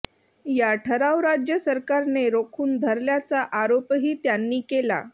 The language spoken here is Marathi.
या ठराव राज्य सरकारने रोखून धरल्याचा आरोपही त्यांनी केला